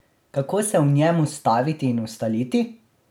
Kako se v njem ustaviti in ustaliti?